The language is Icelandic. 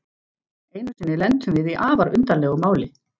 Einu sinni lentum við í afar undarlegu máli.